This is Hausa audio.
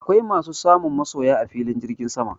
Akwai masu samun masoya a filin jirgin sama